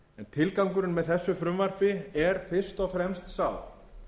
tilgangurinn með þessu frumvarpi er fyrst og fremst sá